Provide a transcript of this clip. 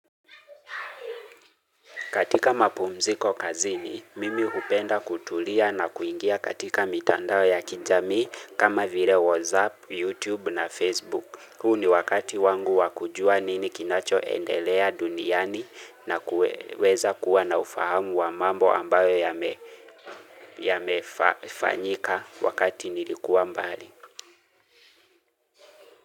Katika mapumziko kazini, mimi hupenda kutulia na kuingia katika mitandao ya kijamii kama vile WhatsApp, YouTube na Facebook. Hu ni wakati wangu wa kujua nini kinachoendelea duniani na kuweza kuwa na ufahamu wa mambo ambayo yamefanyika wakati nilikuwa mbali.